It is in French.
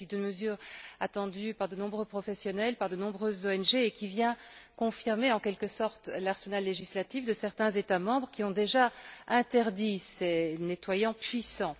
Il s'agit de mesures attendues par de nombreux professionnels et de nombreuses ONG, et qui viennent confirmer, en quelque sorte, l'arsenal législatif de certains États membres, qui ont déjà interdit ces nettoyants puissants.